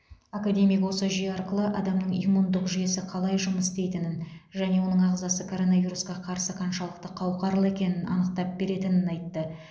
академик осы жүйе арқылы адамның иммундық жүйесі қалай жұмыс істейтінін және оның ағзасы коронавирусқа қарсы қаншалықты қауқарлы екенін анықтап беретінін айтты